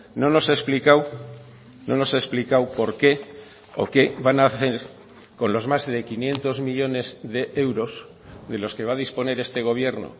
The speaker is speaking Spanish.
no nos ha explicado no nos ha explicado por qué o qué van a hacer con los más de quinientos millónes de euros de los que va a disponer este gobierno